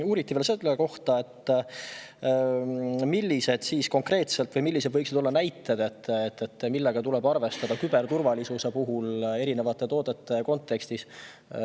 Uuriti veel selle kohta, millised võiksid olla konkreetsed näited, millega tuleb küberturvalisuse kontekstis erinevate toodete puhul arvestada.